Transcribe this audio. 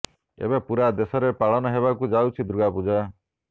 ଏବେ ପୂରା ଦେଶରେ ପାଳନ ହେବାକୁ ଯାଉଛି ଦୁର୍ଗା ପୂଜା